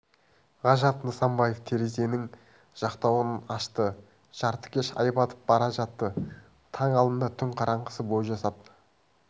ғажап нысанбаев терезенің жақтауын ашты жартыкеш ай батып бара жатты таң алдында түн қараңғысы бой жасап